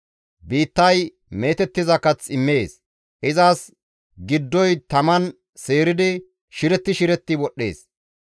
Biittay meetettiza kath immees. Izas giddoy taman seeridi shiretti shiretti wodhdhees.